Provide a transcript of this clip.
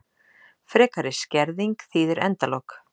Frekari skerðing þýðir endalok